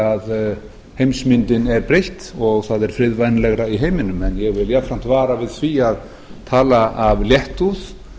að heimsmyndin er breytt og það er friðvænlegra í heiminum en ég vil jafnframt vara við því að tala af léttúð